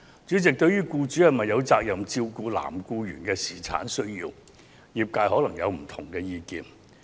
主席，對於僱主有否責任照顧男性僱員的侍產需要，業界可能持不同意見。